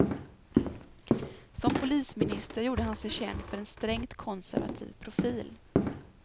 Som polisminister gjorde han sig känd för en strängt konservativ profil.